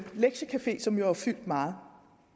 lektiecafeer som jo har fyldt meget